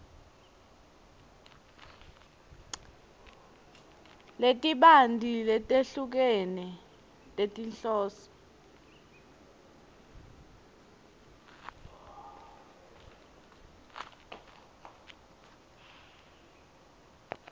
letibanti letehlukene tetinhloso